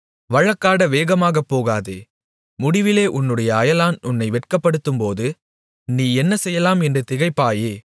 வழக்காடப் வேகமாகமாகப் போகாதே முடிவிலே உன்னுடைய அயலான் உன்னை வெட்கப்படுத்தும்போது நீ என்ன செய்யலாம் என்று திகைப்பாயே